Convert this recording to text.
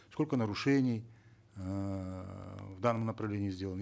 сколько нарушений эээ в данном направлении сделано